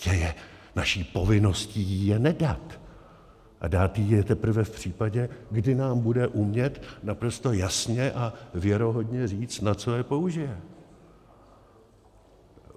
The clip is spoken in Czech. Prostě je naší povinností jí je nedat a dát jí je teprve v případě, kdy nám bude umět naprosto jasně a věrohodně říct, na co je použije!